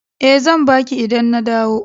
E, zan ba ki idan na dawo.